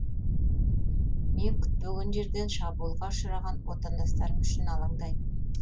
мен күтпеген жерден шабуылға ұшыраған отандастарым үшін алаңдаймын